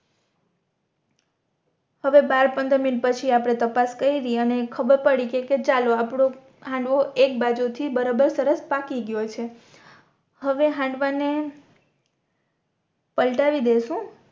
હવે બાર પંદર મિનટ પછી આપણે તપાસ કયરી અને ખબર પડી કે ચાલો આપનો હાંડવો એક બાજુ થી બરાબર સરસ પાકી ગયો છે હવે હાંડવા ને પલટાવી દેસુ